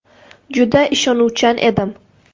Juda ishonuvchan edim.